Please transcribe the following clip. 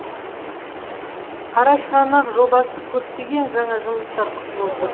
қарашығанақ жобасы көптеген жаңа жұмыстар күтіп отыр